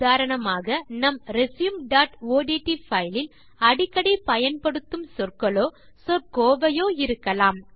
உதாரணமாக நம் resumeஒட்ட் பைல் இல் அடிக்கடி பயன்படுத்தும் சொற்களோ சொற் கோவையோ இருக்கலாம்